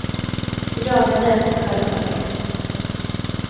I dag är den en självklarhet.